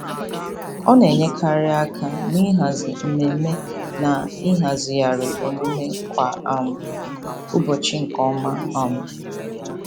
Ọ na-enyekarị aka n'ịhazi mmemme na ịhazigharị omume kwa um ụbọchị nke ọma. um